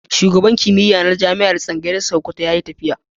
Shugaban Tsangayar kimiyya na Jami'ar Sakkwato ya yi tafiya.